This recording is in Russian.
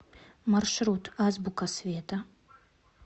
маршрут азбука света